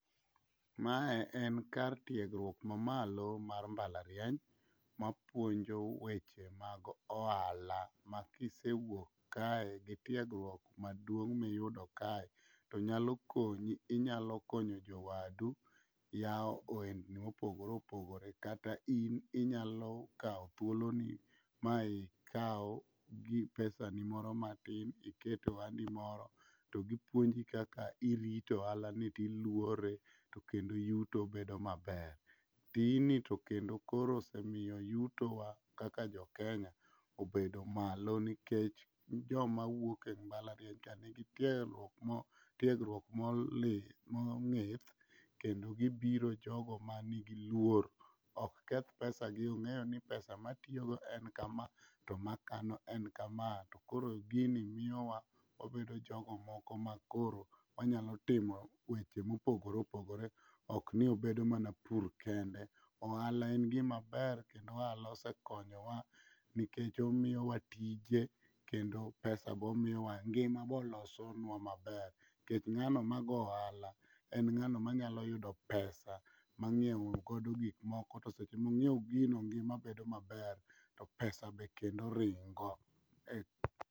Mae en kar tiegruok mamalo mar mbalariany mapuonjo weche mag ohala makisewuok kae gi tiegruok maduong' miyudo kae to nyalo konyi inyalo konyo jowadu yawo ohendni mopogore opogore kata in inyalo kawo thuoloni ma ikaw pesani moro matin iket e ohandi moro to gipuonji kaka irito ohalani tiluore to kendo yuto bedo maber. Tijni to kendo koro osemiyo yutowa kaka jokenya obedo malo nikech jomawuok e mbalariany ka nigi tiegruok mong'ith kendo gibiro jogo manigi luor, ok keth pesagi ong'eyo ni pesa matiyogo en kama to makano en kama to koro gini miyowa wabedo jogo moko makoro wanyalo timo weche mopogore opogore okni obedo mana pur kende. Ohala en gimaber kendo ohala osekonyowa nikech omiyowa tije kendo pesa bomiwa ngima bolosonwa maber nikech ng'ano mago ohala en ng'ano manyalo yudo pesa mang'iewgodo gikmoko to seche mong'iew gino ngima bedo maber to pesa be kendo ringo e..